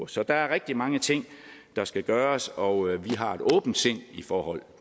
så der er rigtig mange ting der skal gøres og har et åbent sind i forhold